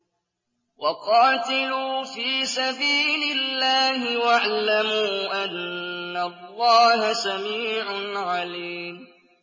وَقَاتِلُوا فِي سَبِيلِ اللَّهِ وَاعْلَمُوا أَنَّ اللَّهَ سَمِيعٌ عَلِيمٌ